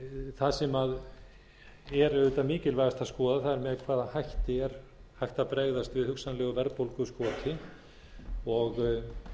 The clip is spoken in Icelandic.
það sem er auðvitað mikilvægast að skoða er með hvaða hætti er hægt að bregðast við hugsanlegu verðbólguskoti og